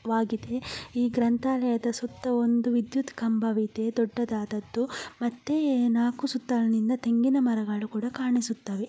ವಾಗಿದೆ ಈ ಗ್ರಂಥಾಲಯದ ಸುತ್ತ ಒಂದು ವಿದ್ಯುತ್ ಕಂಬವಿದೆ ದೊಡ್ಡದಾದದ್ದು ಮತ್ತೆ ನಾಕು ಸುತ್ತ ಅಲ್ಲಿಂದ ತೆಂಗಿನ ಮರಗಳು ಕೂಡ ಕಾಣಿಸುತ್ತವೆ.